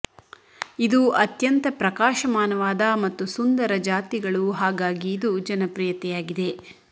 ಇದು ಅತ್ಯಂತ ಪ್ರಕಾಶಮಾನವಾದ ಮತ್ತು ಸುಂದರ ಜಾತಿಗಳು ಹಾಗಾಗಿ ಇದು ಜನಪ್ರಿಯತೆಯಾಗಿದೆ